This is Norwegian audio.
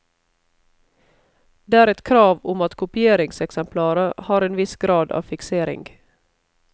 Det er et krav om at kopieringseksemplaret har en viss grad av fiksering.